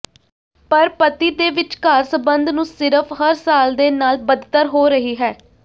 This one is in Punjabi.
ਪਰ ਪਤੀ ਦੇ ਵਿਚਕਾਰ ਸੰਬੰਧ ਨੂੰ ਸਿਰਫ ਹਰ ਸਾਲ ਦੇ ਨਾਲ ਬਦਤਰ ਹੋ ਰਹੀ ਹੈ